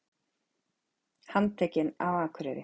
Handtekin á Akureyri